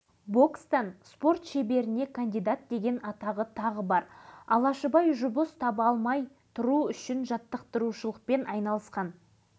бұл естеліктен біз алашыбайдың туған жері аралдан өз мамандығы бойынша жұмыс таба алмай жүрген кезін көреміз